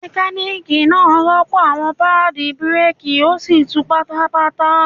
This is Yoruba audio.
Mekaniki naa rọpo awọn paadi bireeki o si tun bata bata.